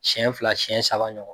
Siɲɛ fila siɲɛ saba ɲɔgɔn.